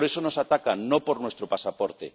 Por eso nos atacan, no por nuestro pasaporte.